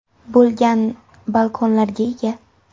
bo‘lgan balkonlarga ega!